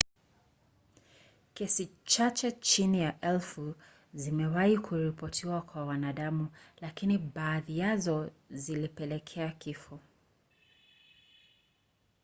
kesi chache chini ya elfu zimewahi kuripotiwa kwa wanadamu lakini baadhi yazo zilipelekea kifo